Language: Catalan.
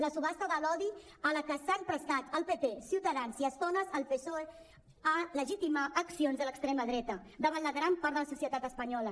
la subhasta de l’odi a la que s’han prestat el pp ciutadans i a estones el psoe ha legitimitat accions de l’extrema dreta davant la gran part de la societat espanyola